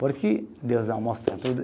Porque Deus não mostra tudo.